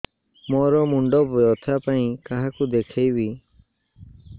ମୋର ମୁଣ୍ଡ ବ୍ୟଥା ପାଇଁ କାହାକୁ ଦେଖେଇବି